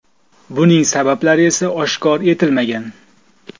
Buning sabablari esa oshkor etilmagan.